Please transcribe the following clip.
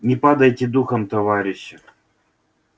не падайте духом товарищи